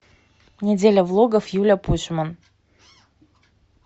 неделя влогов юлия пушман